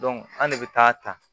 an ne bɛ taa ta